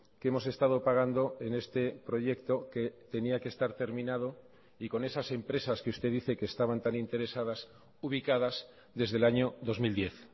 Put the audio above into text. que hemos estado pagando en este proyecto que tenía que estar terminado y con esas empresas que usted dice que estaban tan interesadas ubicadas desde el año dos mil diez